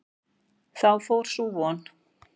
Þá fór sú von!